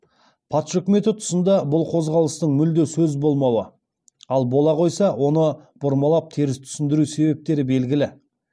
патша өкіметі тұсында бұл қозғалыстың мүлде сөз болмауы ал бола қойса оны бұрмалап теріс түсіндіру себептері белгілі